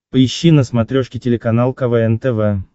поищи на смотрешке телеканал квн тв